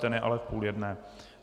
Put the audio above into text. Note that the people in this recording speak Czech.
Ten je ale v půl jedné.